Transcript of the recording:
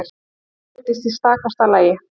Allt virtist í stakasta lagi.